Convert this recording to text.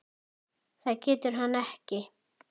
Það getur hann ekki.